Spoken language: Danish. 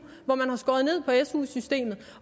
hvor man har skåret ned på su systemet